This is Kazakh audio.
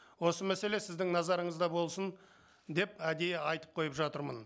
осы мәселе сіздің назарыңызда болсын деп әдейі айтып қойып жатырмын